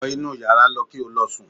Wọ inú yàrá lọ kí ó lọ sùn!